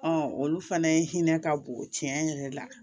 olu fana ye hinɛ ka bon tiɲɛ yɛrɛ la